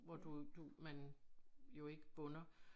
Hvor du du man jo ikke bunder